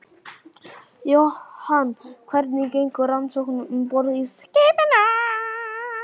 Jóhann: Hvernig gengur rannsóknin um borð í skipinu?